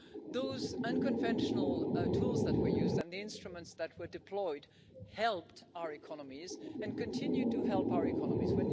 Those unconventional tools that were used and the instruments that were deployed helped our economies and continue to help our economies.